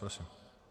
Prosím.